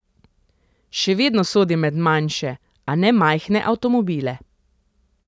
Še vedno sodi med manjše, a ne majhne avtomobile.